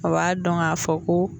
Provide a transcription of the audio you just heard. A b'a dɔn k'a fɔ ko